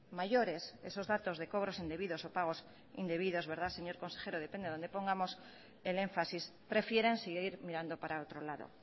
mayores esos datos de cobros indebidos o pagos indebidos verdad señor consejero depende donde pongamos el énfasis prefieren seguir mirando para otro lado